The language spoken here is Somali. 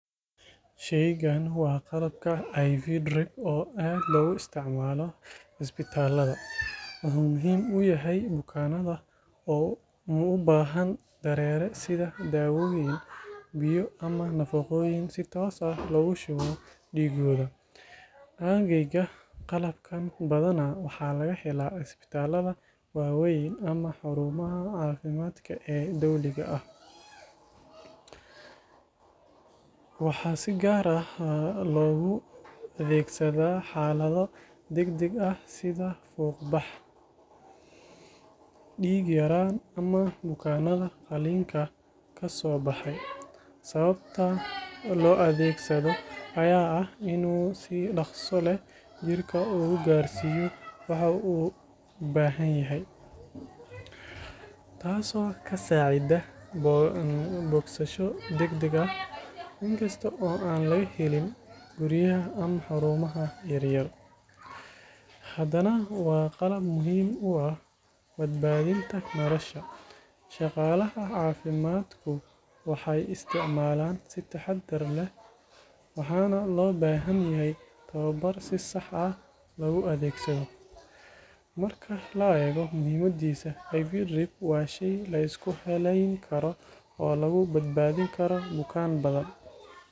Shaygan waa qalabka IV drip oo aad loogu isticmaalo isbitaallada. Wuxuu muhiim u yahay bukaanada u baahan dareere sida daawooyin, biyo ama nafaqooyin si toos ah loogu shubo dhiiggooda. Aaggayga, qalabkan badanaa waxa laga helaa isbitaallada waaweyn ama xarumaha caafimaadka ee dowliga ah. Waxaa si gaar ah loogu adeegsadaa xaalado degdeg ah sida fuuqbax, dhiig-yaraan ama bukaanada qalliinka ka soo baxay. Sababta loo adeegsado ayaa ah in uu si dhakhso leh jirka ugu gaarsiiyo waxa uu u baahanyahay, taas oo ka saacida bogsasho degdeg ah. Inkasta oo aan laga helin guryaha ama xarumaha yaryar, haddana waa qalab muhiim u ah badbaadinta nolosha. Shaqaalaha caafimaadku waxay isticmaalaan si taxaddar leh, waxaana loo baahan yahay tababar si sax ah loogu adeegsado. Marka la eego muhiimadiisa, IV drip waa shay la isku halayn karo oo lagu badbaadin karo bukaan badan.